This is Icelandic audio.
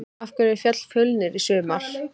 Af hverju féll Fjölnir í sumar?